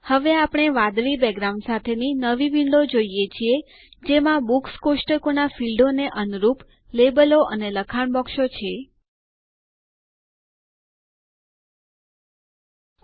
હવે આપણે લેબલો અને લખાણ બોક્સ કે જે બુક્સ કોષ્ટકમાં ફીલ્ડો માટે અનુરૂપ વાદળી બેકગ્રાઉન્ડ સાથેની નવી વિન્ડો જોઈએ